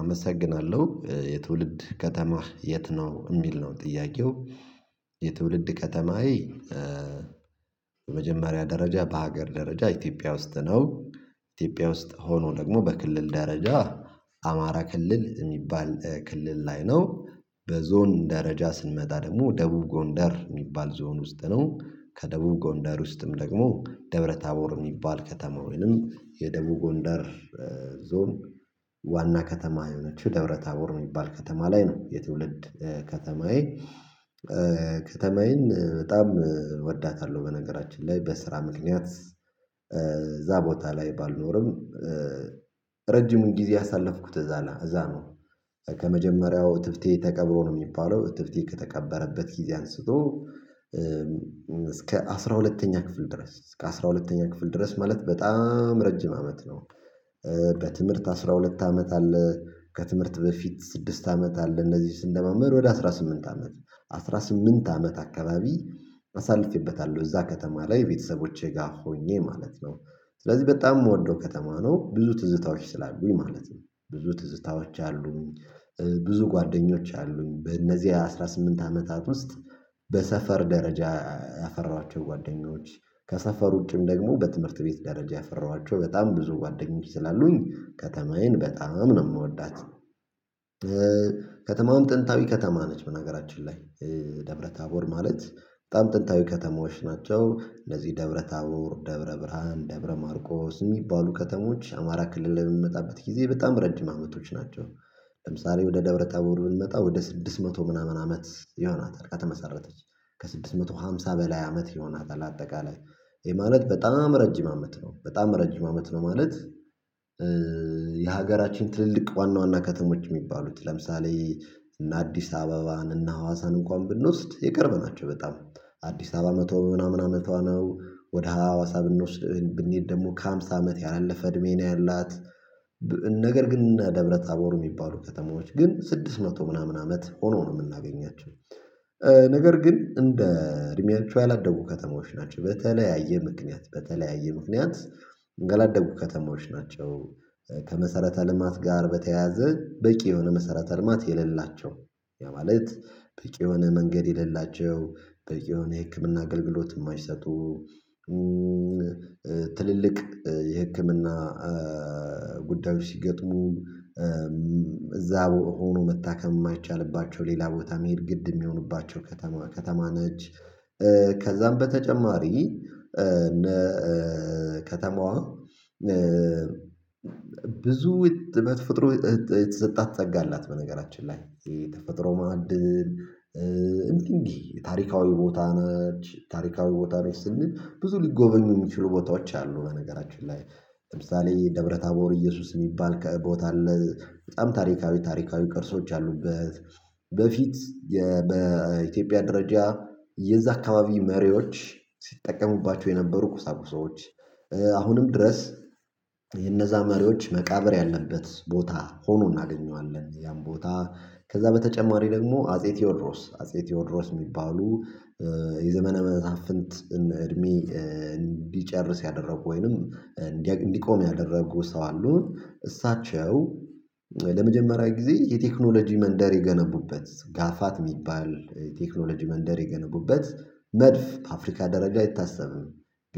አመሰግናለሁ የትውልድ ከተማህ የት ነው? የሚል ነው ጥያቄው። የትውልድ ከተማዬ በመጀመሪያ ደረጃ በሀገር ደረጃ ኢትዮጵያ ውስጥ ነው። ኢትዮጵያ ውስጥ ሆኖ ደግሞ በክልል ደረጃ አማራ ክልል የሚባል ክልል ላይ ነው። በዞን ደረጃ ስንመጣ ደግሞ ደቡብ ጎንደር የሚባል ዞን ውስጥ ነው። ከደቡብ ጎንደር ውስጥም ደግሞ ደብረ ታቦር የሚባል ከተማ ወይንም የደቡብ ጎንደር ዞን። ዋና ከተማ የሆነችው ደብረ ታቦር የሚባል ከተማ ላይ ነው። የትውልድ ከተማዬ። ከተማዬን በጣም እወዳታለሁ በነገራችን ላይ በስራ ምክንያት እዛ ቦታ ላይ ባልኖርም ረጅም ጊዜ ያሳለፍኩት እዛ ነው። ከመጀመሪያው እትብቴ ተቀብሮ ነው የሚባለው እትብቴ ከተቀበረበት ጊዜ አንስቶ እስከ አስራ ሁለተኛ ክፍል ድረስ እስከ አስራ ሁለተኛ ክፍል ድረስ ማለት በጣም ረጅም አመት ነው። በትምህርት አስራ ሁለት አመት አለ ከትምህርት በፊት ስድስት አመት አለ እንደዚህ ስለማመድ ወደ አስራ ስምንት አመት አስራ ስምንት አመት አካባቢ አሳልፌበታለሁ እዛ ከተማ ላይ ቤተሰቦቼ ጋር ሆኜ ማለት ነው። ስለዚህ በጣም የምወደው ከተማ ነው። ብዙ ትዝታዎች ስላሉኝ ማለት ነው ብዙ ትዝታዎች አሉኝ። ብዙ ጓደኞች አሉኝ በእነዚህ አስራ ስምንት አመታት ውስጥ በሰፈር ደረጃ ያፈራኋቸው ጓደኞች ከሰፈር ውጪም ደግሞ በትምህርት ቤት ደረጃ ያፈራኋቸው በጣም ብዙ ጓደኞች ይላሉኝ ከተማዬን በጣም ነው የምወዳት። ከተማዋም ጥንታዊ ከተማ ነች በነገራችን ላይ ደብረ ታቦር ማለት በጣም ጥንታዊ ከተሞች ናቸው እንደዚህ ደብረ ታቦር ደብረ ብርሃን ደብረ ማርቆስ የሚባሉ ከተሞች አማራ ክልል በምንመጣበት ጊዜ በጣም ረጅም አመቶች ናቸው። ለምሳሌ ወደ ደብረ ታቦር ብንመጣ ወደ ስድስት መቶ ምናምን አመት ይሆናታል ከመሰረተች ከስድስት መቶ ሃምሳ በላይ አመት ይሆናል አጠቃላይ ይሄ ማለት በጣም ረጅም አመት ነው በጣም ረጅም አመት ነው ማለት። የሀገራችን ትልልቅ ዋና ዋና ከተሞች የሚባሉት ለምሳሌ እነ አዲስ አበባን እነ ሀዋሳን እንኳን ብንወስድ የቅርብ ናቸው። በጣም አዲስ አበባ መቶ ምናምን አመቷ ነው ወደ ሀዋሳ ብንወስድ ብንሄድ ደግሞ ከሃምሳ አመት ያላለፈ እድሜ ነው ያላት። ነገር ግን እንደ ደብረታቦር የሚባሉ ከተማዎች ግን ስድስት መቶ ምናምን አመት ሆኖ ነው የምናገኛቸው። ነገር ግን እንደ እድሜያቸው ያላደጉ ከተማዎች ናቸው በተለያየ ምክንያት በተለያየ ምክንያት ያላደጉ ከተማዎች ናቸው። ከመሰረተ ልማት ጋር በተያያዘ በቂ የሆነ መሰረተ ልማት የሌላቸው ያ ማለት በቂ የሆነ መንገድ የሌላቸው በቂ የሆነ የህክምና አገልግሎት የማይሰጡ ትልልቅ የህክምና ጉዳዮች ሲገጥሙን እዛ ሆኖ መታከም የማይቻልባቸው ሌላ ቦታ መሄድ ግድ የሚሆኑባቸው ከተማ ከተማ ነች። ከዛም በተጨማሪ እንደ ከተማዋ ብዙ በተፈጥሮ የተሰጣት ፀጋ አላት። በነገራችን ላይ ተፈጥሮ ማዕድን እንዲህ እንዲህ ታሪካዊ ቦታ ነች ታሪካዊ ቦታ ነች ስንል ብዙ ሊጎበን የሚችሉ ቦታዎች አሉ። በነገራችን ላይ ለምሳሌ ደብረ ታቦር እየሱስ የሚባል ቦታ አለ። በጣም ታሪካዊ ታሪካዊ ቅርሶች ያሉበት በፊት በኢትዮጵያ ደረጃ የዛ አካባቢ መሪዎች ሲጠቀሙባቸው የነበሩ ቁሳቁሶች አሁንም ድረስ የነዛ መሪዎች መቃብር ያለበት ቦታ ሆኖ እናገኘዋለን። ያን ቦታ ከዛ በተጨማሪ ደግሞ አጼ ቴዎድሮስ አጼ ቴዎድሮስ የሚባሉ የዘመነ መሳፍንት እድሜ እንዲጨርስ ያደረጉ ወይንም እንዲቆም ያደረጉ ሰው አሉ። እሳቸው ለመጀመሪያ ጊዜ የቴክኖሎጂ መንደር የገነቡበት ጋፋት የሚባል የቴክኖሎጂ መንደር የገነቡበት መድፍ በአፍሪካ ደረጃ አይታሰብም።